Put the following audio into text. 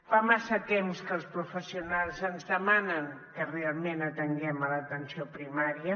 fa massa temps que els professionals ens demanen que realment atenguem l’atenció primària